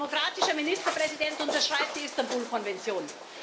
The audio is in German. Ein demokratischer Ministerpräsident unterschreibt die Istanbul Konvention.